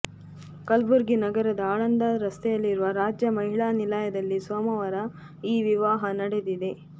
ಕಲಬುರಗಿ ನಗರದ ಆಳಂದ ರಸ್ತೆಯಲ್ಲಿರುವ ರಾಜ್ಯ ಮಹಿಳಾ ನಿಲಯದಲ್ಲಿ ಸೋಮವಾರ ಈ ವಿವಾಹ ನಡೆದಿದೆ